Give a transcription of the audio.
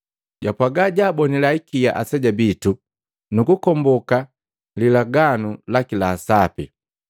Japwaga jwabonila hikia aseja bitu nu kukomboka lilaganu laki la sapi.